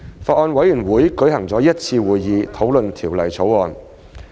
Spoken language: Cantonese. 法案委員會舉行了一次會議討論《條例草案》。